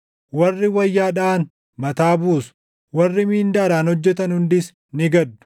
Warri wayyaa dhaʼan mataa buusu; warri mindaadhaan hojjetan hundis ni gaddu.